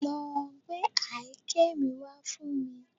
Lọ gbé àáké mi wá fún mi